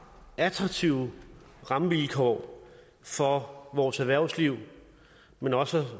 attraktive rammevilkår for vores erhvervsliv men også